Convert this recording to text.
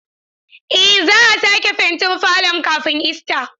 Eh za'a sake fentin falon kafin Ista.